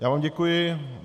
Já vám děkuji.